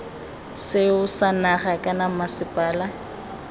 seo sa naga kana mmasepala